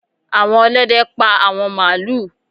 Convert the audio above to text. Àwọn Olóde pá àwọn màálù.